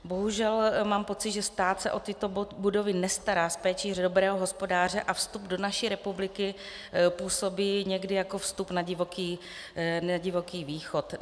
Bohužel mám pocit, že stát se o tyto budovy nestará s péčí dobrého hospodáře, a vstup do naší republiky působí někdy jako vstup na divoký východ.